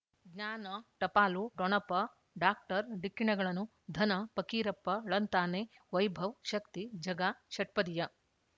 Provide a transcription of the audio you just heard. ಜ್ಞಾನ ಟಪಾಲು ಠೊಣಪ ಡಾಕ್ಟರ್ ಢಿಕ್ಕಿ ಣಗಳನು ಧನ ಫಕೀರಪ್ಪ ಳಂತಾನೆ ವೈಭವ್ ಶಕ್ತಿ ಝಗಾ ಷಟ್ಪದಿಯ